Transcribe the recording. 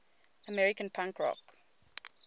american punk rock